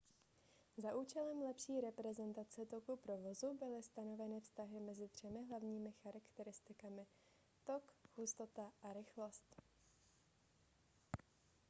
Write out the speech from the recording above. za účelem lepší reprezentace toku provozu byly stanoveny vztahy mezi třemi hlavními charakteristikami: 1 tok 2 hustota a 3 rychlost